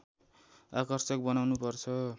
आकर्षक बनाउनु पर्छ